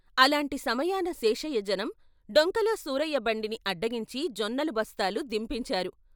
అలాంటి సమయాన శేషయ్య జనం, డొంకలో సూరయ్య బండిని అడ్డగించి జొన్నలు బస్తాలు దింపించారు.